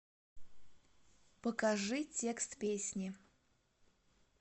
покажи текст песни